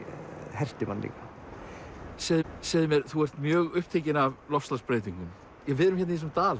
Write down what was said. herti mann líka segðu mér þú ert mjög upptekinn af loftslagsbreytingum við erum í þessum dal